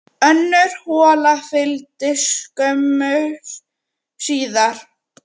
Önnur hola fylgdi skömmu síðar.